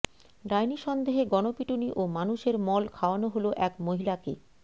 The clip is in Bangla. ডাইনি সন্দেহে গণপিটুনি ও মানুষের মল খাওয়ানো হল এক মহিলাকে